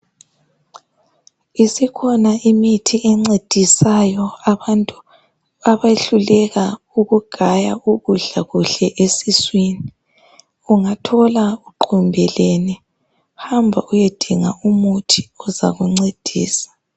Isikhona imithi encedisayo abantu abehluleka ukugaya ukudla kuhle esiswini. Ungathola uqumbelene hamba uyedinga umuthi ozakuncedisa.